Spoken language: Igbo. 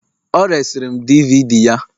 o resịrị m DVD ya